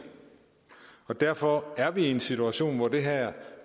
derfor er vi i en situation hvor det her